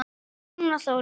Heiðrún og Þórunn.